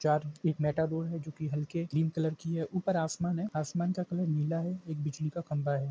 चार एक मेटाबॉल है जो के हलके क्रीम कलर की है ऊपर आसमा है आसमान का कलर नीला है एक बिजली का खम्बा है।